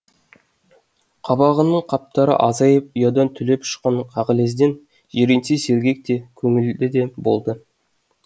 қабағының қатпары азайып ұядан түлеп ұшқан қағілезден жиренше сергек те көңілді де болды